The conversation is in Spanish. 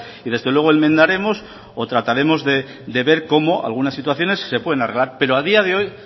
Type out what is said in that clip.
y desde luego enmendaremos o trataremos de ver cómo algunas situaciones se pueden arreglar pero a día de hoy